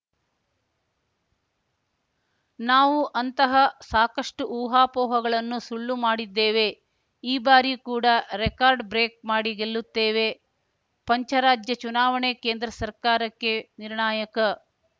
ನಾವು ಅಂತಹ ಸಾಕಷ್ಟುಊಹಾಪೋಹಗಳನ್ನು ಸುಳ್ಳು ಮಾಡಿದ್ದೇವೆ ಈ ಬಾರಿ ಕೂಡ ರೆಕಾರ್ಡ್‌ ಬ್ರೇಕ್‌ ಮಾಡಿ ಗೆಲ್ಲುತ್ತೇವೆ ಪಂಚರಾಜ್ಯ ಚುನಾವಣೆ ಕೇಂದ್ರ ಸರ್ಕಾರಕ್ಕೆ ನಿರ್ಣಾಯಕ